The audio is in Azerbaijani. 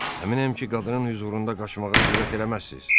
Əminəm ki, qadının hüzurunda qaçmağa cürət eləməzsiz.